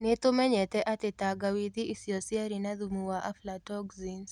Nĩ tũmenyete atĩ tangawithi icio ciarĩ na thumu wa aflatoxins.